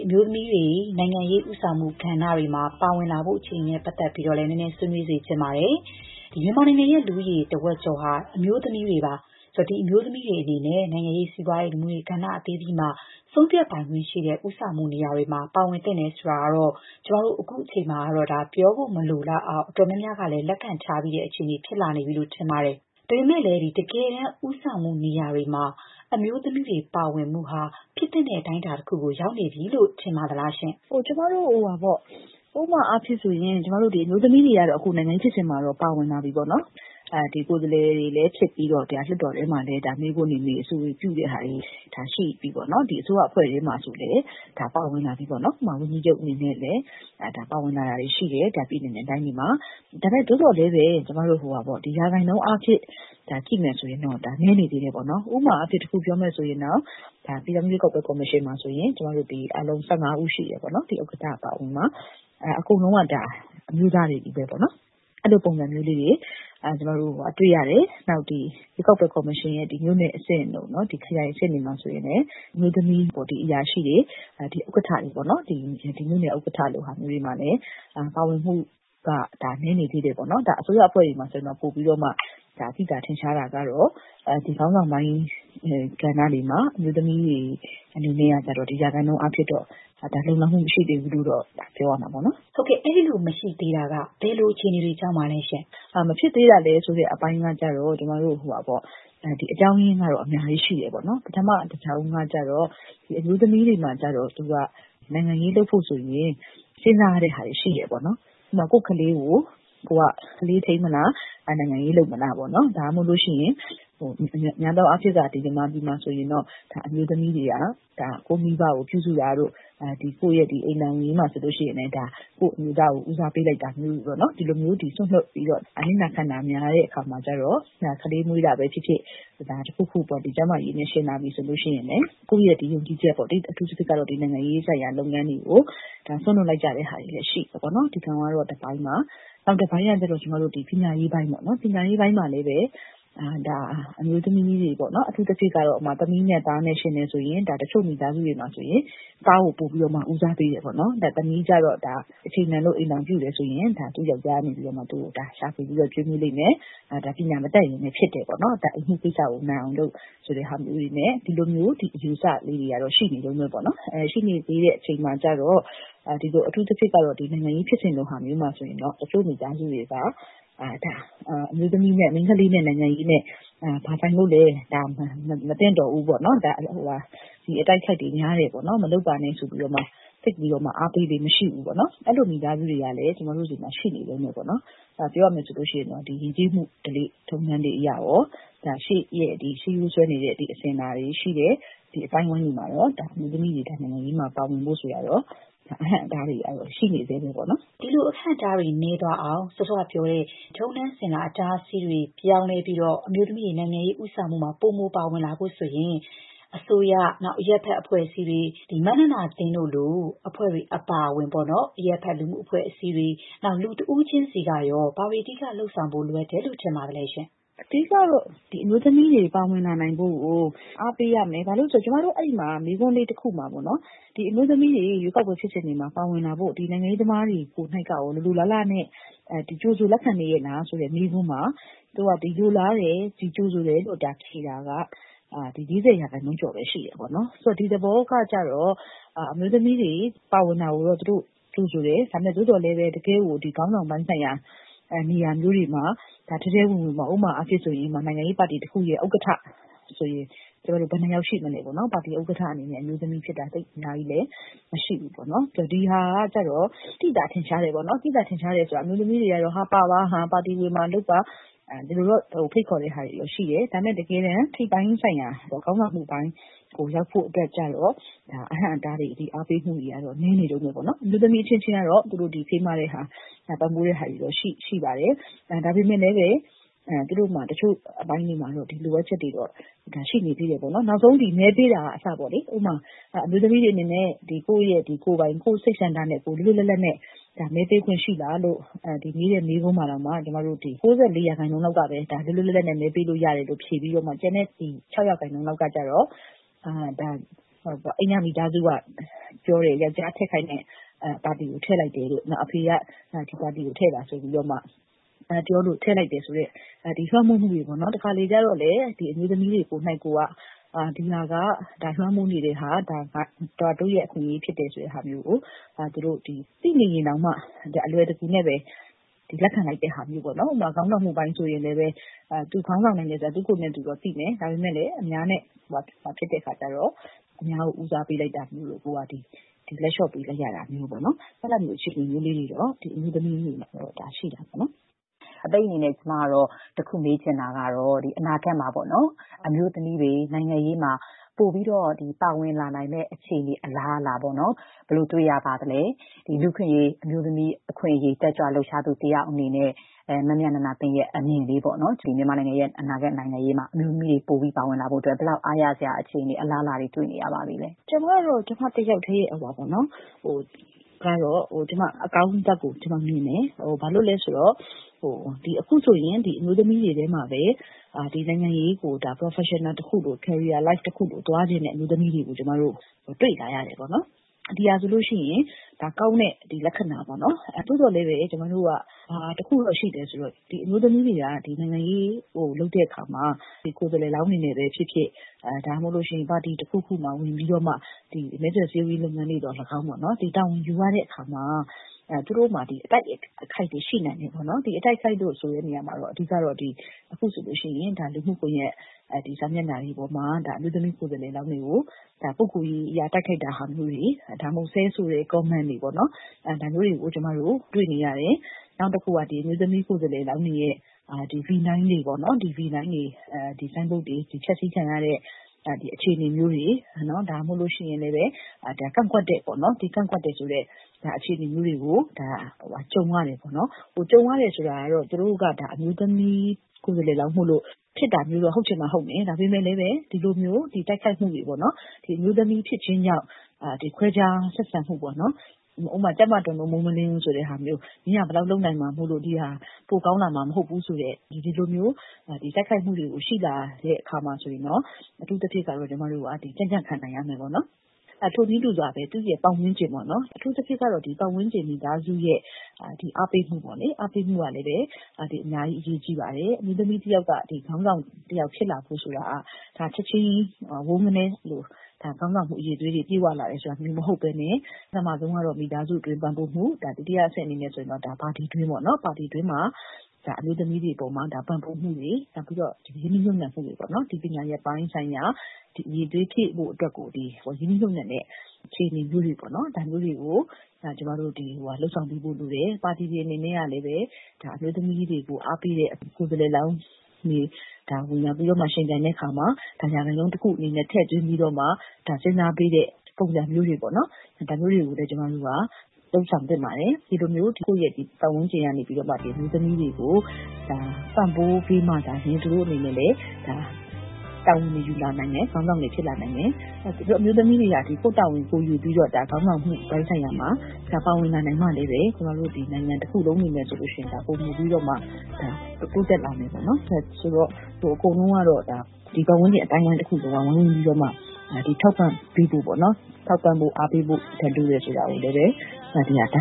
အမျိုးသမီးတွေ နိုင်ငံရေး ဦးဆောင်မှုကဏ္ဍတွေမှာ ပါဝင်လာဖို့ အခြေအနေနဲ့ပတ်သက်ပြီးတော့လည်း မေးချင်ပါတယ်။ မြန်မာနိုင်ငံရဲ့ လူဦးရေတဝက်ကျော်ဟာ အမျိုးသမီးတွေပါ။ ဆိုတော့ ဒီအမျိုးသမီးတွေအနေနဲ့ နိုင်ငံရေး၊ စီးပွားရေး လူမှုရေး ကဏ္ဍအသီးသီးမှာ ဆုံးဖြတ်ပိုင်ခွင့် ရှိတဲ့ဦးဆောင်မှု နေရာတွေမှာ ပါဝင်သင့်တယ်ဆိုတာကတော့ ကျမတို့အခုအချိန်မှာ ပြောဖို့မလိုတော့အောင် အတော်များများကလည်း လက်ခံတဲ့ အခြေအနေဖြစ်လာနေပြီလို့ ထင်ပါတယ်။ ဒါပေမဲ့ တကယ်တမ်း ဦးဆောင်မှုနေရာတွေမှာ အမျိုးသမီးတွေပါဝင်မှုဟာ ဖြစ်သင့်တဲ့ အတိုင်းအတာတခု အထိ ရောက်နေပြီလို့ ထင်ပါသလားရှင့်။ “ကျမတို့ ဥပမာအားဖြင့်ဆိုရင် အမျိုးသမီးတွေ ကတော့ နိုင်ငံရေးဖြစ်စဉ်တွေမှာ ပါဝင်လာပြီပေါ့နော်။ ကိုယ်စားလှယ်တွေလည်း ဖြစ်ပြီးတော့ လွှတ်တော်ထဲမှာလည်း မေးခွန်းတွေမေး၊ အဆိုတွေ ပြုတဲ့ဟာတွေ ရှိပြီပေါ့နော်။ အစိုးရ အဖွဲ့ထဲမှာ ဆိုရင်လည်း ဒါ ပါဝင်လာပြီပေါ့နော်။ ဝန်ကြီးချုပ် အနေနဲ့ ပါဝင်လာတာမျိုးတွေလည်း ရှိတယ်။ ပြည်နယ်နဲ့တိုင်းတွေမှာ။ ဒါပေမဲ့ သို့သော်လည်းပဲ ကျမတို့ ရာခိုင်နှုန်းအားဖြင့် ကြည့်မယ်ဆိုရင်တော့ နည်းနေသေးတာပေါ့နော်။ ဥပမာအားဖြင့် တခုပြောမယ်ဆိုရင် ပြည်ထောင်စု ရွေးကောက်ပွဲ ကော်မရှင်မှာဆိုရင် အားလုံး ၁၅ ဦးရှိတယ်။ ဥက္ကဋ္ဌ အပါအဝင် အကုန်လုံးက အမျိုးသားတွေချည်းပဲပေါ့နော်။ အဲ့ဒီလို ပုံစံမျိုးလေးတွေ ကျမတို့ တွေ့ရတယ်။ နောက်ပြီးတော့ ရွေးကောက်ပွဲကော်မရှင်ရဲ့ မြို့နယ်အဆင့်တို့ ခရိုင်အဆင့်တွေမှာ ဆိုလို့ရှိရင်လည်း ဒါက အမျိုးသမီး အရာရှိတွေ၊ ဥက္ကဋ္ဌတွေပေါ့နော်။ မြို့နယ် ဥက္ကဋ္ဌလို ဟာတွေမှာလည်း ပါဝင်မှုက နည်းနေသေးတယ်ပေါ့နော်။ အစိုးရအဖွဲ့တွေမှာဆိုရင်တော့ ပိုပြီးတော့မှ သိသာထင်ရှားတာကတော့ ခေါင်းဆောင်ပိုင်းကဏ္ဍတွေမှာ အမျိုးသမီးတွေ အနေနဲ့ကတော့ ရာခိုင်နှုန်းအားဖြင့်တော့ လုံလောက်မှု မရှိသေးဘူးလို့တော့ ပြောရမှာပေါ့နော်။” ဟုတ်ကဲ့။ အဲ့ဒီလိုမရှိသေးတာက ဘယ်လို အခြေအနေတွေကြောင့်ပါလဲရှင့်။ “မဖြစ်သေးတာဆိုတဲ့အပိုင်းက ကျတော့ အကြောင်းရင်းကတော့ အများကြီး ရှိတယ်ပေါ့နော်။ ပထမ တကြောင်းကကျတော့ အမျိုးသမီးတွေမှာ နိုင်ငံရေးလုပ်ဖို့ဆိုရင် စဉ်းစားရတဲ့ ဟာတွေရှိတယ်။ ဥပမာ ကိုယ့်ခလေးကို ခလေးထိန်းမလား။ နိုင်ငံရေးလုပ်မလားပေါ့။ ဒါမှမဟုတ်ရင်လည်း သူတို့မှာ များသောအားဖြင့်က မြန်မာပြည်မှာဆိုရင်တော့ အမျိုးသမီးတွေက ကိုယ့်မိဘကို ပြုစုတာတို့၊ ကိုယ့်ရဲ့ အိမ်ထောင်ရေးမှာ ဆိုရင်လည်း ကိုယ့်အမျိုးသားကို ဦးစားပေးလိုက်တာမျိုးတွေပေါ့နော်။ ဒီလိုမျိုး စွန့်လွှတ်ပြီးတော့ အနစ်နာခံတာများတဲ့ အခါမှာကျတော့၊ ကလေးမွေးတာပဲဖြစ်ဖြစ်။ တခုခုပေါ့။ ကျန်းမာရေးကိစ္စနဲ့ယှဉ်လာပြီဆိုရင်လည်း ကိုယ့်ရဲ့ယုံကြည်ချက်၊ အထူးသဖြင့်ကတော့ နိုင်ငံရေးဆိုင်ရာ လုပ်ငန်းတွေကို စွန့်လွှတ်လိုက်ကြတဲ့ ဟာတွေလည်း ရှိတယ်။ ဒါကတော့ တပိုင်းပါ။ နောက်တပိုင်းကတော့ ကျမတို့ ပညာရေးပိုင်းပေါ့။ ပညာရေးပိုင်းမှာလည်း အမျိုးသမီးတွေ။ အထူးသဖြင့် သမီးနဲ့သားနဲ့ ယှဉ်တယ်ဆိုရင် တချို့မိသားစုတွေမှာဆိုရင် သားကို ပိုပြီးတော့ ဦးစားပေးတယ်ပေါ့နော်။ သမီးကျတော့ အချိန်တန်လို့ အိမ်ထောင်ပြုတယ်ဆိုရင် သူ ယောက်ျားကနေ သူ့ကို ရှာဖွေ ကျွေးမွေးလိမ့်မယ်။ ပညာမတတ်ရင်လည်း ဖြစ်တယ်ပေါ့။ အိမ်မှုကိစ္စကိုပဲ နိုင်အောင်လုပ် ဆိုတာမျိုးတွေနဲ့ ဒီလိုမျိုး အယူအဆလေးတွေကတော့ ရှိနေတုန်းပဲပေါ့နော်။ ရှိနေသေးတဲ့ အချိန်မှာကျတော့ အထူးသဖြင့်ကတော့ နိုင်ငံရေးဖြစ်စဉ်လိုဟာမျိုးမှာဆိုရင် တချို့မိသားစုတွေက ဒါ မိန်းခလေးနဲ့ နိုင်ငံရေးနဲ့ ဘာဆိုင်လို့လဲ။ ဒါ မသင့်တော့ဘူးပေါ့။ အတိုက်အခိုက်တွေ များတယ်ပေါ့။ မလုပ်ပါနဲ့ ဆိုပြီး သိပ်ပြီးတော့ အားပေးလေ့ မရှိဘူးပေါ့နော်။ အဲ့လိုမိသားစုတွေကလည်း ကျမတို့ဆီမှာ ရှိနေတုန်းပဲပေါ့နော်။ ပြောရမယ်ဆိုရင်တော့ ယဉ်ကျေးမှု ဓလေ့ထုံးတမ်းတွေ အရရော၊ ရှေးရိုးစွဲနေတဲ့ အစဉ်အလာတွေ ရှိတယ်။ ဒီလို အသိုင်းအဝိုင်းတွေမှာတော့ အမျိုးသမီးတွေ နိုင်ငံရေးမှာ ပါဝင်ဖို့ ဆိုတာကတော့ အဟန့်အတားတွေ ကတော့ ရှိနေဆဲပေါ့နော်။” ဒီလို အဟန့်အတားတွေနည်းသွားအောင်၊ စောစောကပြောတဲ့ ထုံးတမ်းစဉ်လာ အတားအဆီးတွေ ပြောင်းလဲပြီး အမျိုးသမီးတွေ နိုင်ငံရေးဦးဆောင်မှုမှာ ပိုမိုပါဝင်လာဖို့ဆိုရင် အစိုးရ၊ မမြနန္ဒာသင်းတို့လို အဖွဲ့တွေ အပါအဝင် အရပ်ဘက် လူမှုအဖွဲ့အစည်းတွေ၊ နောက် လူတဦးချင်းစီကရော ဘာတွေ အဓိက လုပ်ဆောင်ဖို့ လိုအပ်နေတယ်လို့ ထင်ပါသလဲရှင့်။ “အဓိက ကတော့ အမျိုးသမီးတွေ ပါဝင်လာနိုင်ဖို့ကို အားပေးရမယ်။ ဘာဖြစ်လို့လဲ ဆိုတော့ ကျမတို့ စစ်တမ်းလုပ်တဲ့နေရာမှာ မေးခွန်းလေးတခုမှာပေါ့နော်။ အမျိုးသမီးတွေ ရွေးကောက်ပွဲ ဖြစ်စဉ်တွေမှာ ပါဝင်လာဖို့ နိုင်ငံရေးသမားတွေ ကိုယ်နှိက်ကရော လိုလိုလားလားနဲ့ ကြိုဆိုလက်ခံရဲ့လားဆိုတဲ့ မေးခွန်းမှာ - သူတို့က လိုလားတယ်။ ကြိုဆိုတယ်လို့ ဖြေတာက ၄၀ % ကျော်ပဲ ရှိတယ်ပေါ့နော်။ ဆိုတော့ ဒီသဘောက ကျတော့ အမျိုးသမီးတွေ ပါဝင်တာကိုတော့ သူတို့ကြိုဆိုတယ်။ သို့သော်လည်းပဲ တကယ့်ကို ခေါင်းဆောင်ပိုင်းဆိုင်ရာ နေရာမျိုးတွေမှာ ထဲထဲဝင်ဝင်ပေါ့။ ဥပမာအားဖြင့် ဆိုရင် နိုင်ငံရေးပါတီ တခုရဲ့ ဥက္ကဋ္ဌဆိုရင် ဘယ်နှစ်ယောက် ရှိမလဲပေါ့နော်။ ပါတီဥက္ကဋ္ဌအနေနဲ့ အမျိုးသမီးက သိပ်အများကြီးလည်း မရှိဘူးပေါ့နော်။ ဒီဟာက ကျတော့ သိသာ ထင်ရှား တယ်ပေါ့နော်။ သိသာထင်ရှားတယ်ဆိုတာ ကတော့ အမျိုးသမီးတွေကတော့ ပါပါ။ ပါတီဝင်ပါ လုပ်ပါ။ ဒီလိုတော့ ဖိတ်ခေါ်တာတွေ ရှိတယ်။ ဒါပေမဲ့ တကယ်တမ်း ထိပ်ပိုင်းဆိုင်ရာ ခေါင်းဆောင်မှုပိုင်းကို ရောက်ဖို့အတွက်ကျတော့ အဟန့်အတားတွေ အားပေးမှုတွေ ကတော့ နည်းနေတုန်းပဲပေါ့နော်။ အမျိုးသမီးအချင်းချင်း ကတော့ ဖေးမတာ ပံ့ပိုးတာတွေတော့ ရှိပါတယ်။ ဒါပေမဲ့လည်းပဲ သူတို့မှာ တချို့အပိုင်းလေးတွေမှာတော့ လိုအပ်ချက်တွေတော့ ရှိနေသေးတယ်ပေါ့နော်။ နောက်ဆုံး မဲပေးတာက အစပေါ့လေ။ ဥပမာ အမျိုးသမီးတွေ အနေနဲ့ ကိုယ့်ရဲ့ကိုယ်ပိုင် စိတ်ဆန္ဒနဲ့ လွတ်လွတ်လပ်လပ် မဲပေးခွင့်ရှိလား လို့ မေးတဲ့မေးခွန်းမှာတောင်မှ ၉ ၄ % လောက်ကပဲ ဒါ လွတ်လွတ်လပ်လပ်နဲ့ မဲပေးလို့ရတယ်လို့ ဖြေပြီးတော့ ကျန်တဲ့ ၆ % လောက်က ကျတော့ အိမ်က မိသားစုက ပြောတယ်။ ယောက်ျားထည့်ခိုင်းတဲ့ပါတီကို ထည့်လိုက်တယ်တို့။ အဖေက ဒီပါတီကို ထည့်ပါဆိုပြီးတော့မှပြောလို့ ထည့်လိုက်တယ်ဆိုတဲ့ လွှမ်းမိုးမှုတွေ ပေါ့နော်။ တခါတလေ ကျတော့လည်း အမျိုးသမီးတွေ ကိုယ်နှိက်ကိုယ်က ဒီဟာက လွှမ်းမိုးနေတဲ့ဟာ၊ ဒါ တို့ရဲ့အခွင့်အရေ ဖြစ်တယ် ဆိုတဲ့ဟာမျိုးကို သိနေရင်တောင်မှ အလွယ်တကူနဲ့ပဲ လက်ခံလိုက်တဲ့ဟာမျိုးပေါ့နော်။ နောက် ခေါင်းဆောင်မှုပိုင်းဆိုရင်လည်းပဲ သူ ခေါင်းဆောင်နိုင်တယ်ဆိုတာ သူ့ကိုယ်သူတော့ သိတယ်။ ဒါပေမဲ့လည်း အများနဲ့ ဖြစ်လာတဲ့အခါကျတော့ အများကို ဦးစားပေး လိုက်တာမျိုးတို့။ လက်ေ လ ျှာ့ပေးလိုက်ရတာမျိုးတို့။ အဲ့ဒါမျိုး အခြေအနတွေကတော့ အမျိုးသမီးတွေမှာ ရှိနေတာပေါ့နော်။” အပိတ်အနေနဲ့ ကျမ တခုမေးချင်တာကတော့ အနာဂတ်မှာ အမျိုးသမီးတွေ နိုင်ငံရေးမှာ ပိုမို ပါဝင်လာနိုင်မယ့် အခြေအနေ အလားအလာ ဘယ်လို တွေ့ရပါသလဲ။ လူ့အခွင့်အရေး အမျိုးသမီးအခွင့်အရေး တက်ကြွလှုပ်ရှားသူ တယောက်အနေနဲ့ မမြနန္ဒာသင်းရဲ့ အမြင်ပေါ့။ မြန်မာ့နိုင်ငံရေးမှာ အမျိုးသမီးခေါင်းဆောင်တွေ ပိုပြီး ပေါ်ထွက်လာဖို့ ဘယ်လောက် အားရစရာ အခြေအနေ၊ အလားအလာတွေ တွေ့နေရပါပြီလဲရှင့်။ “ကျမ ကတော့ ကျမ တယောက်တည်းအမြင်ကတော့ ကျမ အကောင်းဘက်ကိုမြင်တယ်။ ဘာလို့လဲဆိုတော့ အခုဆိုရင် အမျိုးသမီးတွေထဲမှာပဲ နိုင်ငံရေးကို professional တခုလို၊ carrier life တခုလို သွားချင်တဲ့ အမျိုးသမီးတွေကို ကျမတို့ တွေ့လာရတယ်ပေါ့နော်။ ဒီဟာဆိုလို့ရှိရင် ဒါက ကောင်းတဲ့ လက္ခဏာပေါ့နော်။ သို့သော်လည်းပဲ ကျမတို့က ဘာတခုတော့ ရှိလဲ ဆိုတော့ အမျိုးသမီးတွေက နိုင်ငံရေး လုပ်တဲ့အခါမှာ ကိုယ်စားလှယ်လောင်းတွေ အနေနဲ့ပဲဖြစ်ဖြစ်၊ ပါတီတခုခုမှာ ဝင်ပြီးတော့ မဲဆွယ်စည်းရုံးရေး လုပ်ငန်းတွေ သော်လည်းကောင်းပေါ့။ တာဝန်ယူရတဲ့အခါမှာ သူတို့မှာ အတိုက်အခိုက်တွေ ရှိနိုင်တယ်။ ဒီ အတိုက်အခိုက်လို့ ဆိုတဲ့နေရာမှာတော့ အဓိက ကတော့ အခုဆိုရင် လူမှုကွန်ရက် စာမျက်နှာတွေပေါ်မှာ အမျိုးသမီး ကိုယ်စားလှယ်လောင်းတွေကို ပုဂ္ဂိုလ်ရေးအရ တိုက်ခိုက်တာမျိုးတွေ၊ ဒါမှမဟုတ် ဆဲဆိုတဲ့ ကွန်းမန့်တွေပေါ့နော်။ ဒါမျိုးတွေကို ကျမတို့ တွေ့နေရတယ်။ နောက်တခုက အမျိုးသမီး ကိုယ်စားလှယ်လောင်းတွေရဲ့ ဗီနိုင်းတွေ၊ ဆိုင်းဘုတ်တွေ ဖျက်ဆီးခံရတဲ့ အခြေအနေမျိုးတွေ။ ဒါမှမဟုတ်ရင်လည်း ကန့်ကွက်တယ်ဆိုတဲ့ အခြေအနေမျိုးတွေကို ကြုံရတယ်ပေါ့နော်။ ကြုံရတယ်ဆိုတာက သူတို့က အမျိုးသမီးကိုယ်စားလှယ်လောင်း မိုလို့ ဆိုပြီး ဖြစ်တာမျိုးတော့ ဟုတ်ချင်မှဟုတ်မယ်။ ဒါပေမဲ့လည်းပဲ ဒီလိုတိုက်ခိုက်မှုတွေပေါ့နော်။ အမျိုးသမီးဖြစ်ခြင်းကြောင့် ခွဲခြား ဆက်ဆံမှုပေါ့။ ဥပမာ ကြက်မတွန်လို့ မိုးမလင်းဘူးဆိုတဲ့ ဟာမျိုး။ မင်းက ဘယ်လောက် လုပ်နိုင်မှာမို့လို့ ဒီဟာက ပိုကောင်းလာမှာ မဟုတ်ဘူးဆိုတဲ့ ဒီလိုမျိုး တိုက်ခိုက်မှုတွေ ရှိလာတဲ့အခါမှာ အထူးသဖြင့် ကျမတို့က ကြံ့ကြံ့ခံနိုင်ရမယ်ပေါ့နော်။ ထိုနည်းတူစွာပဲ ပတ်ဝန်းကျင်ပေါ့။ အထူးသဖြင့်ကတော့ ပတ်ဝန်းကျင် မိသားစုရဲ့ အားပေးမှုကလည်းပဲ အများကြီး အရေးကြီးပါတယ်။ အမျိုးသမီးတယောက်က ခေါင်းဆောင် တယောက်ဖြစ်လာဖို့ဆိုတာ ချက်ချင်းကြီး ဝုန်းခနဲ ခေါင်းဆောင်မှု အရည်အသွေးတွေ ပြည့်ဝလာတယ်ဆိုတာမျိုး မဟုတ်ဘဲနဲ့ ပထမဆုံးကတော့ မိသားစုတွင်း ပံ့ပိုးမှု။ ဒုတိယအဆင့် အနေနဲ့ဆိုရင်တော့ ပါတီတွင်းပေါ့။ ပါတီတွင်းမှာ အမျိုးသမီးတွေ အပေါ်မှာ ပံ့ပိုးမှုတွေ၊ ရင်းနှီးမြှုပ်နှံမှုတွေ၊ ပညာရပ်ပိုင်းဆိုင်ရာ အရည်အသွေး ဖြည့်ဖို့အတွက်ကို ရင်းနှီးမြှုပ်နှံတဲ့ အခြေအနေမျိုးတွေ ပေါ့နော်။ ဒါမျိုးတွေကို ကျမတို့ လုပ်ဆောင်ပေးဖို့ လိုတယ်။ ပါတီ တွေ အနေနဲ့ကလည်း အမျိုးသမီးတွေကို အားပေးတဲ့ ကိုယ်စားလှယ်လောင်းတွေ ဝင်ရောက်ယှဉ်ပြိုင်တဲ့ နေရာမှာ ရာခိုင်နှုန်းတခု အနေနဲ့ ထည့်ပြီးတော့မှ စဉ်းစားပေးတဲ့ ပုံစံမျိုးတွေပေ့ါ။ ဒါမျိုးတွေကိုလည်း ကျမတို့က လုပ်ဆောင်သင့်ပါတယ်။ ဒီလိုမျိုး ကိုယ့်ရဲ့ ပတ်ဝန်းကျင်ကနေပြီးတော့မှ အမျိုးသမီးတွေကို ပံ့ပိုးပေးမှသာလ ျှင် သူတို့အနေနဲ့ တာဝန်ယူလာနိုင်မယ်။ ခေါင်းဆောင်တွေ ဖြစ်လာနိုင်မယ်။ အမျိုးသမီးတွေကလည်း ကိုယ့်တာဝန်ကိုယ် ယူပြီးတော့ ခေါင်းဆောင်မှုပိုင်း ဆိုင်ရာမှာ ပါဝင်လာနိုင်မှလည်းပဲ ကျမတို့ နိုင်ငံတခုလုံး အနေနဲ့ဆိုရင်တော့ ပိုမိုပြီးတော့မှ တိုးတက်လာမယ်ပေါ့နော်။ ဆိုတော့ အကုန်လုံးကတော့ ဒီပတ်ဝန်းကျင် အသိုင်းအဝိုင်း တခုလုံးကတော့ ဝိုင်းဝန်းပြီးတော့မှ ထောက်ပံ့ပေးဖို့၊ အားပေးဖို့ လိုတယ်ဆိုတာကိုလည်း ပြောချင်ပါတယ်